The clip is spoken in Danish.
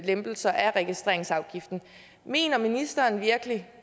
lempelser af registreringsafgiften mener ministeren virkelig